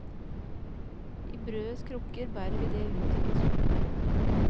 I brødets krukker bærer vi det ut til de sultne.